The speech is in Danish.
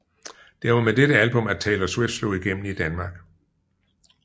Det var med dette album at Taylor Swift slog igennem i Danmark